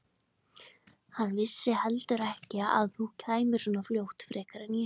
Hann vissi heldur ekki að þú kæmir svona fljótt frekar en ég.